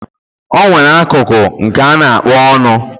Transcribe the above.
Onwere akụkụ nke ana akpọ ọnụ